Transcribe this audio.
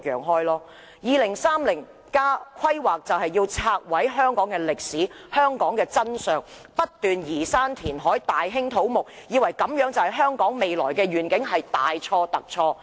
《香港 2030+》的規劃便是要拆毀和消滅香港的歷史及真相，不斷移山填海，大興土木，以為這樣便是香港未來的願景，這是大錯特錯的。